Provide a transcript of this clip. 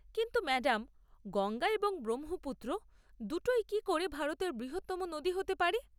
কিন্তু ম্যাডাম, গঙ্গা এবং ব্রহ্মপুত্র দুটোই কি করে ভারতের বৃহত্তম নদী হতে পারে?